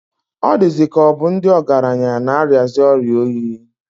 Ọ dịzịka ọ bụ ndị ọgaranya na-arịazi ọrịa oyi.